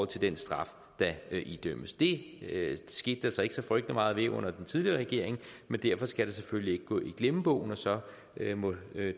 til den straf der idømmes det skete der så ikke så frygtelig meget ved under den tidligere regering men derfor skal det selvfølgelig ikke gå i glemmebogen og så må